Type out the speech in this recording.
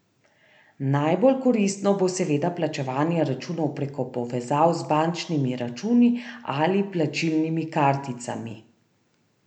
Najbolj koristno bo seveda plačevanje računov preko povezav z bančnimi računi ali plačilnimi karticami.